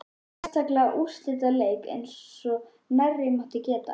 Sérstaklega úrslitaleiki eins og nærri mátti geta.